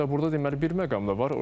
Hətta burda deməli bir məqam da var.